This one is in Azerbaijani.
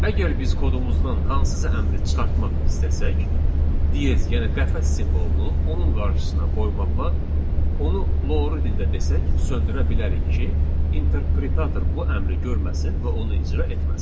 Əgər biz kodumuzdan hansısa əmri çıxartmaq istəsək, diz yəni qəfəs simvolunu onun qarşısına qoymaqla onu loru dildə desək söndürə bilərik ki, interpretator bu əmri görməsin və onu icra etməsin.